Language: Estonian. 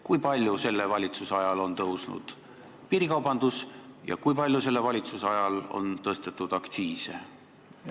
Kui palju selle valitsuse ajal on suurenenud piirikaubandus ja kui palju selle valitsuse ajal on tõstetud aktsiise?